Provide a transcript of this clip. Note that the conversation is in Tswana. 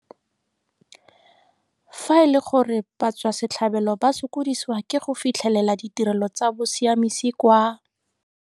Fa e le gore batswasetlhabelo ba sokodisiwa ke go fitlhelela ditirelo tsa bosiamisi kwa.